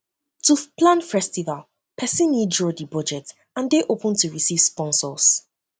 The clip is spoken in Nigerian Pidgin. to plan festival persin need draw di budget and de open to receive sponsors